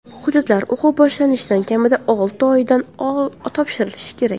Hujjatlar o‘quv boshlanishidan kamida olti oy oldin topshirilishi kerak.